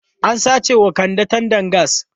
An sace wa Kande tandan gas.